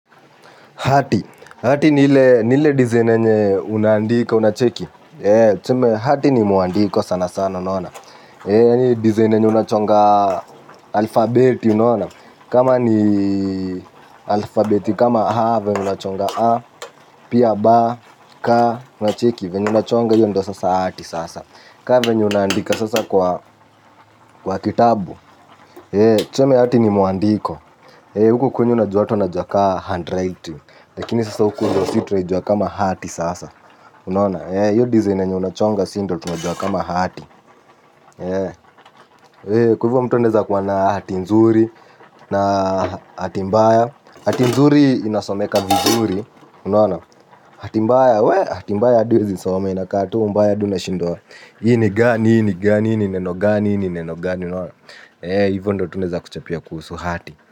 Hati, hati nile dizine nye unandika, unacheki hati ni muandiko sana sana naona dizine nye unachonga alfabeti naona kama ni alfabeti, kama ha vennye unachonga a pia ba, ka, unacheki vennye unachonga yo ndo sasa hati sasa kwa venye unandika sasa kwa kitabu hati ni muandiko uko kwenyu unajua ka sasa handwritting lakini si tunaijua kaa hati sasa. Kwa hivo mtu anaeza kuwa na hati nzuri na hati mbaya hati nzuri inasomeka vizuri unaona hati mbaya hata m, tu awezi kusoma. Ini gani, ini gani, ini neno gani, ini neno gani. Hivu ndo tunaeza kuchapia kuhusu hati.